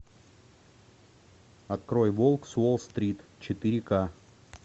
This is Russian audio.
открой волк с уолл стрит четыре ка